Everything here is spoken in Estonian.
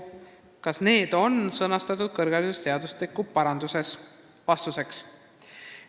Kas need on sõnastatud kõrgharidusseadustiku parandustes?